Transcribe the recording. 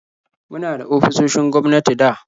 Muna da ofisoshin gwamnati da